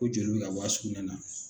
Ko joli be ka bɔ a sukunɛ na